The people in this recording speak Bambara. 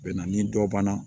Bɛ na ni dɔ banna